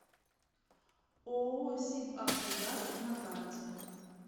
ооо сибавтогаз на карте